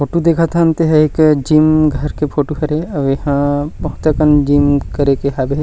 Photo देखत हन ते ह एक जिम घर के फोटु हरे अउ एहाँ बहुत अकन जिम करे के हावे।